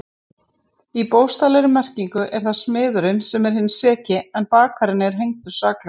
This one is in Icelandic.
Í bókstaflegri merkingu er það smiðurinn sem er hinn seki en bakarinn er hengdur saklaus.